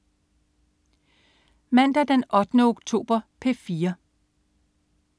Mandag den 8. oktober - P4: